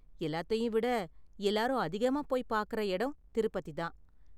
எல்லாத்தையும் விட எல்லாரும் அதிகமா போய் பார்க்கற எடம் திருப்பதி தான்.